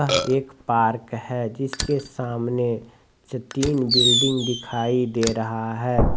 यह एक पार्क है जिसके सामने तीन बिल्डिंग दिखाई दे रहा है।